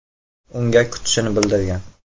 Unga kutishini bildirgan.